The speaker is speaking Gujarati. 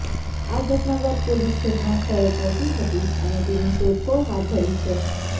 આ ઘટના બાદ પોલીસ ઘટનાસ્થળે પહોંચી હતી અને તેની શોધખોળ હાથ ધરી છે